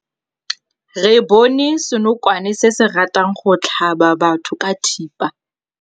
Re bone senokwane se se ratang go tlhaba batho ka thipa.